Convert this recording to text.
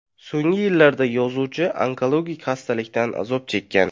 So‘nggi yillarda yozuvchi onkologik xastalikdan azob chekkan.